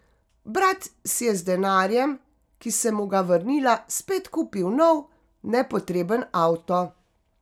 Brat si je z denarjem, ki sem mu ga vrnila, spet kupil nov, nepotreben avto.